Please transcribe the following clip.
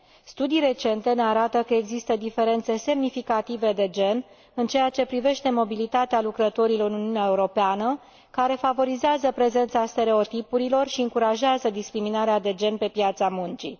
Studii recente ne arată că există diferențe semnificative de gen în ceea ce privește mobilitatea lucrătorilor în Uniunea Europeană, care favorizează prezența stereotipurilor și încurajează discriminarea de gen pe piața muncii.